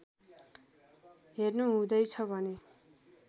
हेर्नु हुँदैछ भने